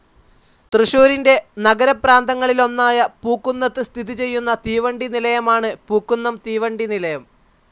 തൃശൂരിൻ്റെ നഗരപ്രാന്തങ്ങളിലൊന്നായ പൂക്കുന്നത്ത് സ്ഥിതി ചെയുന്ന തീവണ്ടി നിലയമാണ് പൂക്കുന്നം തീവണ്ടി നിലയം.